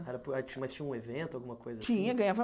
Mas tinha um evento, alguma coisa assim? Tinha ganhava